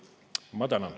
Ma tänan.